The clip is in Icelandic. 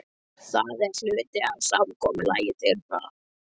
Það er hluti af samkomulagi þeirra.